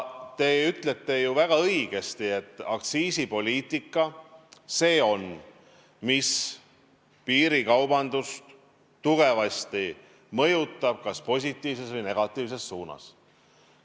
Te ütlesite väga õigesti, et aktsiisipoliitika on see, mis piirikaubandust tugevasti mõjutab, seda kas positiivses või negatiivses suunas.